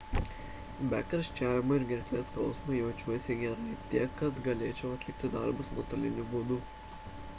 be karščiavimo ir gerklės skausmo jaučiuosi gerai tiek kad galėčiau atlikti darbus nuotoliniu būdu